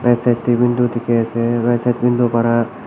Left side dae window dekhe ase right side window para--